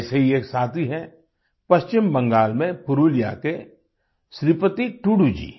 ऐसे ही एक साथी हैं पश्चिम बंगाल में पुरुलिया के श्रीपति टूडू जी